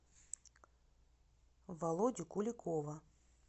володю куликова